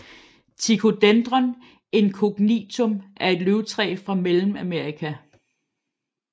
Ticodendron incognitum er et løvtræ fra Mellemamerika